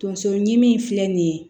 Tonso ɲimi filɛ nin ye